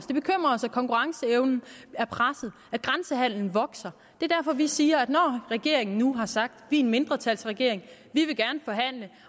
os at konkurrenceevnen er presset at grænsehandelen vokser det er derfor vi siger at når regeringen nu har sagt en mindretalsregering